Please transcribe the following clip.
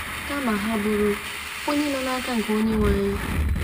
Kama, ha bụrụ onye nọ naka nke Onyenweanyị?